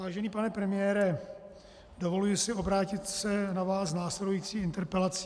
Vážený pane premiére, dovoluji si obrátit se na vás s následující interpelací.